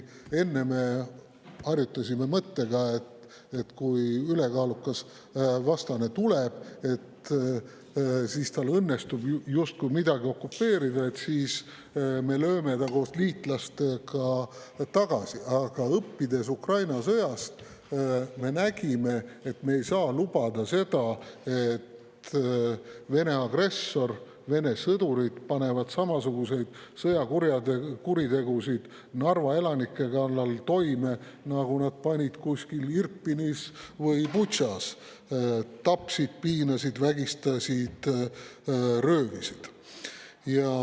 Enne me harjutasime mõttega, et kui ülekaalukas vastane tuleb ja tal õnnestub midagi okupeerida, siis me lööme ta koos liitlastega tagasi, aga õppides Ukraina sõjast, me nägime, et me ei saa lubada seda, et Vene agressor, Vene sõdurid panevad Narva elanike kallal toime samasuguseid sõjakuritegusid, nagu nad panid Irpinis ja Butšas, tapsid, piinasid, vägistasid ja röövisid.